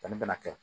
bɛna kɛ